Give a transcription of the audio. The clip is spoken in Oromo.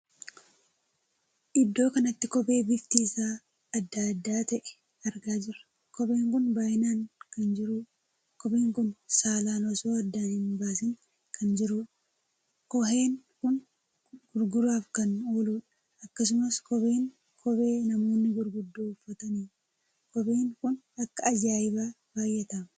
Iddoo kanatti kophee bifti isaa addaa adda ta`e argaa jirra. kopheen kun baay'inaan kan jirudha. kopheen kun saalaan osoo addaan hin baasiin kan jiruudha. kooheen kun gurguraaf kan ooludha. akkasumas kopheen kophee namoonni gurguddoo uffataniidha. kopheen kun akka ajaa'ibaa baay'ataam!